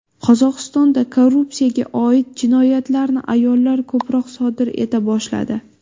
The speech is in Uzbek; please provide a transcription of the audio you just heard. Qozog‘istonda korrupsiyaga oid jinoyatlarni ayollar ko‘proq sodir eta boshladi.